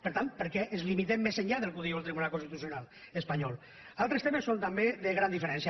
per tant per què ens limitem més enllà del que diu el tribunal constitucional espanyol altres temes són també de gran diferència